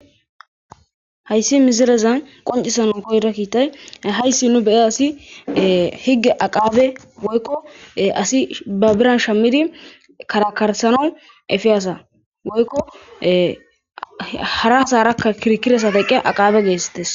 Hayssi mizirezan qoncisanon goyra kiitay hayssi nu bee asi higge aqaabe woykko asi ba biran shammidi karakarsano efiyaasa woykko haratharakka kirkire saate eqqe aqaabe geessites.